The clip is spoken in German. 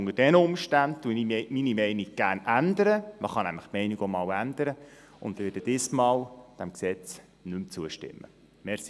Unter diesen Umständen ändere ich meine Meinung gerne – man kann die Meinung nämlich auch einmal ändern – und werde dem Gesetz dieses Mal nicht mehr zustimmen.